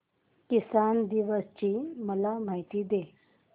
किसान दिवस ची मला माहिती दे